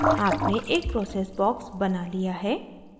आपने एक process box बना लिया है